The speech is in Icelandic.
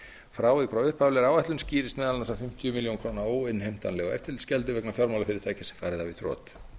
frávik frá upphaflegri áætlun skýrist meðal annars af fimmtíu milljónir króna óinnheimtanlegu eftirlitsgjald vegna fjármálafyrirtækis fari það í þrot